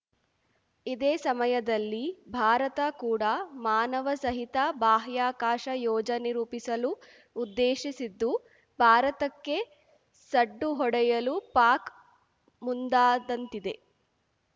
ಇದೇ ಸಮಯದಲ್ಲಿ ಭಾರತ ಕೂಡ ಮಾನವ ಸಹಿತ ಬಾಹ್ಯಾಕಾಶ ಯೋಜನೆ ರೂಪಿಸಲು ಉದ್ದೇಶಿಸಿದ್ದು ಭಾರತಕ್ಕೆ ಸಡ್ಡು ಹೊಡೆಯಲು ಪಾಕ್‌ ಮುಂದಾದಂತಿದೆ